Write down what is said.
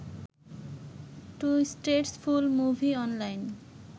2 states full movie online